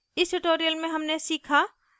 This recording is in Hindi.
इस tutorial में हमने सीखा